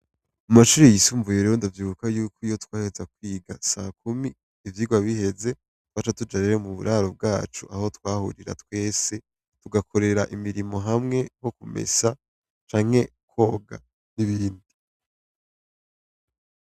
Amashure yisumbuye ndavyibuka yuko iyo twaheza kwiga sakumi ivyigwa biheze twaja tuja muburaro bwacu aho twahurira twese tugakorera imirimo hamwe nko kumesa canke kwoga.